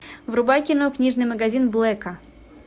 врубай кино книжный магазин блэка